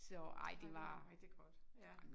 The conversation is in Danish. Det var jo rigtig godt ja